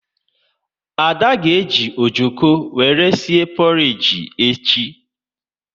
Ada ga eji ojoko wéré sie porage echi